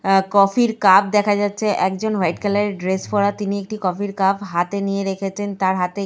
অ্যা coffee -র cup দেখা যাচ্ছে। একজন ওয়াইট কালার -এর ড্রেস পরা তিনি একটি -র কাপ হাতে নিয়ে রেখেছেন। তার হাতে একটি --